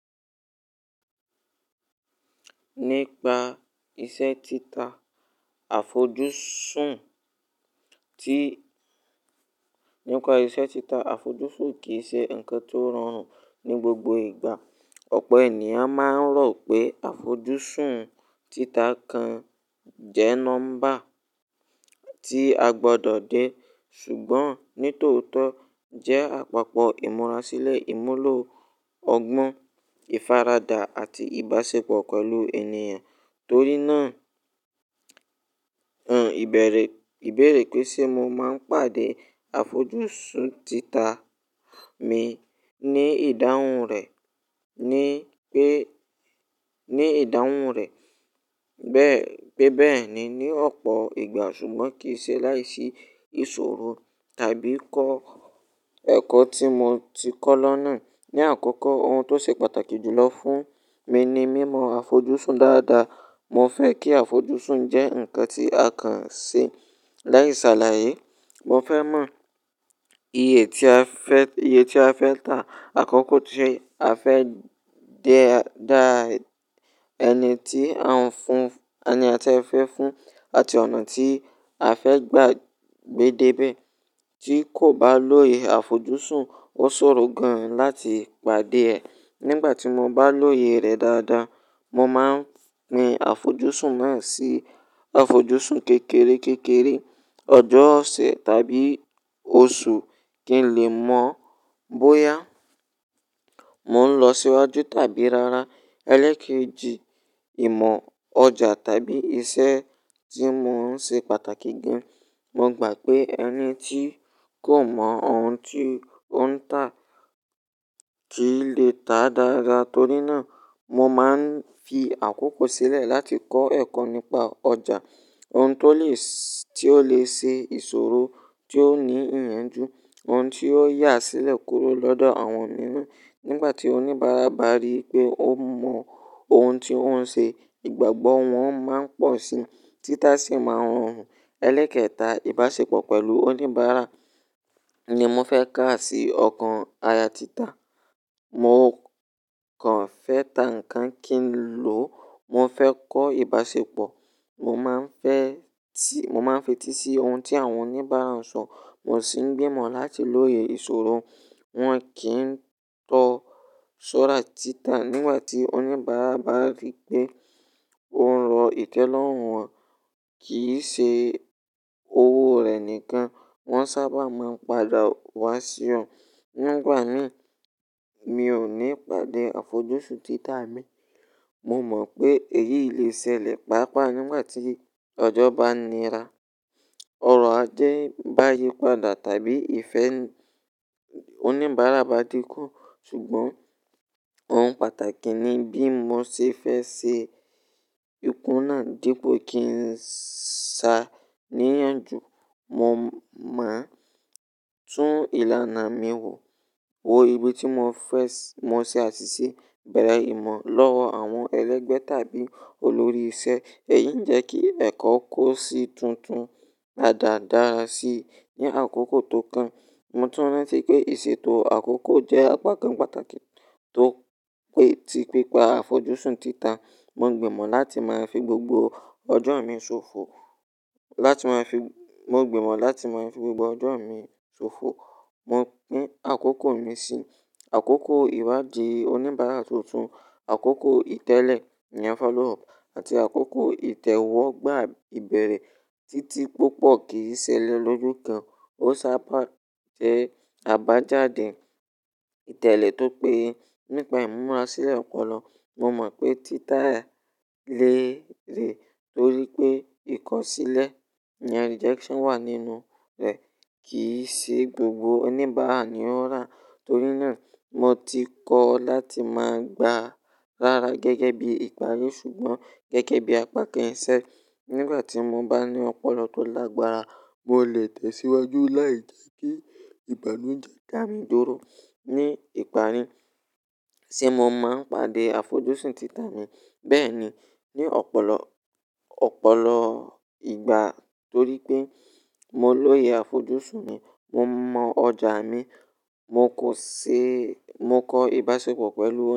Nípa iṣẹ́ tita àfojúsùn tí-- nípa iṣẹ́ tita àfojúsùn kì í ṣe ǹkan tó rọrùn ní gbogbo ìgbà. Ọ̀pọ̀ ènìyàn máa ń rò pé àfojúsùn tita kan jẹ́ nọ́mbà tí a gbọdọ̀ dé, ṣùgbọ́n nítòótọ́ jẹ́ àpapọ̀ ìmúrasílẹ̀ ìmúlò ọgbọ́n, ìfaradà àti ìbáṣepọ̀ pẹ̀lú ènìyàn. Torí náà, òun ìbẹ̀rẹ̀, ìbẹ̀rẹ̀ pé ṣe mo máa ń pàdé àfojúsùn tita mi ní ìdáhùn rẹ̀ ni pé, ní ìdáhùn rẹ̀. Bẹ́ẹ, pé bẹ́ẹ̀ ni ní ọ̀pọ̀ ìgbà, ṣùgbọ́n kì í ṣe láìsí ìṣòro tàbí kọ́, ẹ̀kọ́ tí mo ti kọ́ lọ́nà. Ni àkókò, ohun tó ṣe pàtàkì jùlọ fún mi ni mímọ àfojúsùn dáadáa. Mo fẹ́ kí àfojúsùn jẹ́ ǹkan tí a kàn ṣe láìse àlàyé. Mo fẹ́ mọ iye tí a fẹ́, iye tí a fẹ́ tà. Àkókò tí a fẹ́ dé dá ẹni tí a ń fún, ẹni tí a fẹ́ fún àti ọ̀nà tí a fẹ́ gbà gbé dé ibẹ̀ tí kò bá lóye àfojúsùn. Ó ṣòro gan láti pàdé ẹ̀. Nígbà tí mo bá lóye rẹ̀ dáadáa, mo máa pín àfojúsùn náà sí àfojúsùn kékeré kékeré. Ọjọ́, ọ̀sẹ̀ tàbí oṣù kí n lè mọ bóyá mò ń lọ síwájú tàbí rárá. Ẹlẹ́kẹ́ji, ìmọ ọjà tàbí iṣẹ́ tí mò ń ṣe pàtàkì gan. Mo gbà pé ẹni tí kò mọ ohun tí ó ń tà kì í lè tà dára. Torí náà, mo máa ń fi àkókò sílẹ̀ láti kọ́ ẹ̀kọ́ nípa ọjà. Ohun tó lè, tí ó lè ṣe ìṣòro, tí ó ní ìyànjú, ohun tí ó yá sílẹ̀ kúrò lọ́dọ̀ àwọn mìíràn. Nígbà tí oníbàárà bá rí pé ó mọ ohun tí ó ń ṣe, ìgbàgbọ́ wọn máa n pọ̀ sí i, títà sì máa rọrùn. Ẹlẹ́kẹ́ta, ìbáṣepọ̀ pẹ̀lú oníbàárà ni mo fẹ́ ká sí ọkàn aya tita. Mo kàn fẹ́ tà ǹkan kí n lò. Mo fẹ́ kọ́ ìbáṣepọ̀. Mo máa ń fẹ́ tì, mo máa ń fi etí sí ohun tí àwọn oníbàárà ń sọ. Mo sì ń gbìmọ̀ láti lóye ìṣòro. Wọn kì í tọ sọ́ra tita nígbà tí oníbàárà bá rí pé ó ń lọ ìtẹ́lọ́rùn wọ́n, kì í ṣe owó rẹ̀ nìkan. Wọn sábà máa ń padà wá sí ọ. Nígbà miràn mi ò ní pàdé àfojúsùn tita mi. Mo mọ̀ pé èyí lè ṣẹlẹ̀ pàápàá nígbà tí ọjọ́ bá nira, ọrọ̀ ajé bá yípadà tàbí ìfẹ́ oníbàárà bá dínkù. Ṣùgbọ́n ohun pàtàkì ni bí mo ṣe fẹ́ ṣe ikúnà dípò kí n sá ní ìyànjú. Mo máa tún ìlànà mi wò, wò ibi tí mo fẹ́, mo ṣe àṣìṣe bẹ̀rẹ̀ ìmọ̀ lọ́wọ́ àwọn ẹlẹ́gbẹ́ tàbí olórí iṣẹ́. Èyí ń jẹ́ kí ẹ̀kọ́ kó sì tuntun daradára sí i ní àkókò tó kàn. Mo tún rántí pé ìṣètò àkókò jẹ́ àpá kan pàtàkì tó pé, tí pípa àfojúsùn tita. Mo gbìmọ̀ láti máa fi gbogbo ọjọ́ mi ṣòfò, láti máa fi, mo gbìmọ̀ láti máa fi gbogbo ọjọ́ mi ṣòfò. Mo pín àkókò mi sí àkókò ìwádìí oníbàárà tuntun, àkókò ìtẹ́lẹ̀ iyen follow up àti àkókò ìtẹ̀wọ́gbà ìbẹ̀rẹ̀ títí púpọ̀ kì í ṣe lẹ lójo kan. Ó sábà jẹ́ àbájáde ìtẹ́lẹ̀ tó pé. Nípa ìmúrasílẹ̀ ọ̀pọ̀lọ, mo mọ̀ pé tita lè rè torí pé ìkọ̀sílẹ̀ iyen rejection wà nínú rẹ̀. Kì í ṣe gbogbo oníbàárà ni ó rà. Torí náà, mo ti kọ́ láti máa gba rárá gẹ́gẹ́ bí ìparí ṣùgbọ́n gẹ́gẹ́ bí àpá kan iṣẹ́. Nígbà tí mo bá ní ọ̀pọ̀lọ tó lágbára, mo lè tẹ̀síwájú láì kí kí ìbànújẹ́ dá mi dúró. Ní ìparí, ṣe mo máa ń pàdé àfojúsùn tita mi? Bẹ́ẹ̀ ni. Ni ọ̀pọ̀lọ, ọ̀pọ̀lọ ìgbà torí pé mo lóye àfojúsùn mi, mo mọ ọjà mi, mo kò ṣe, mo kọ ìbáṣepọ̀ pẹ̀lú wọn.